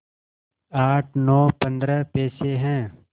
आठ नौ पंद्रह पैसे हैं